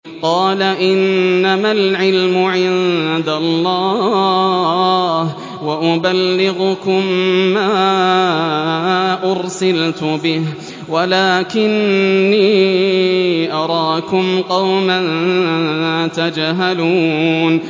قَالَ إِنَّمَا الْعِلْمُ عِندَ اللَّهِ وَأُبَلِّغُكُم مَّا أُرْسِلْتُ بِهِ وَلَٰكِنِّي أَرَاكُمْ قَوْمًا تَجْهَلُونَ